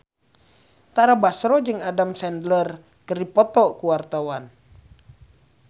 Tara Basro jeung Adam Sandler keur dipoto ku wartawan